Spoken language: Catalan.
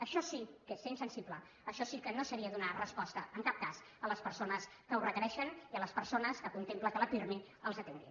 això sí que és ser insensible això sí que seria no donar resposta en cap cas a les persones que ho requereixen i a les persones que contemplen que el pirmi els atengui